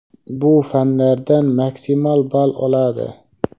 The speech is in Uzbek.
bu fanlardan maksimal ball oladi.